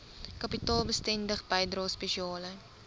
kapitaalbesteding bydrae spesiale